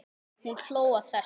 Hún hló að þessu.